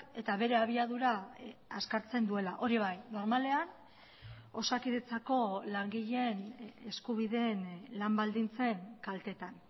eta bere abiadura azkartzen duela hori bai normalean osakidetzako langileen eskubideen lan baldintzen kaltetan